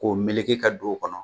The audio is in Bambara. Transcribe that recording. K'o meleke ka don o kɔnɔ